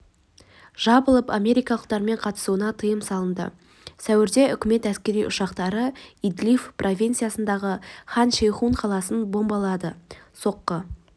жабылып америкалықтармен қатынасуына тыйым салынды сәуірде үкімет әскери ұшақтары идлиб провинициясындағы хан-шейхун қаласын бомбалады соққы